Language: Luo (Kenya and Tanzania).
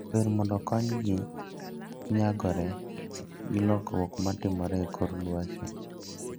Ber mondo okonygi nyagore gi lokruok ma timore e kor lwasi.